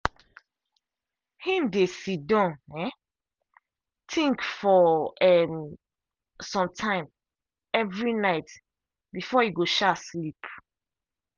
him dey sidon um think for um some time every night before e go um sleep.